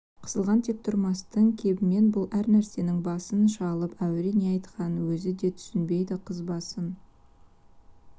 қысылған тек тұрмастың кебімен бұл әр нәрсенің басын шалып әуре не айтқанын өзі де түсінбейді қыз басын